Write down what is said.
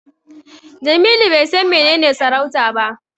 Jamilu bai san menene sarauta ba.